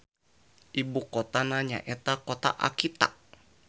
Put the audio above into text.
Ibukotana nyaeta Kota Akita.